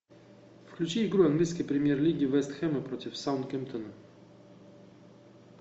включи игру английской премьер лиги вест хэма против саутгемптона